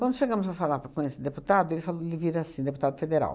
Quando chegamos para falar com esse deputado, ele falou ele vira assim, deputado federal.